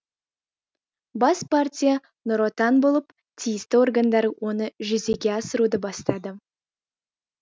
бас партия нұр отан болып тиісті органдар оны жүзеге асыруды бастады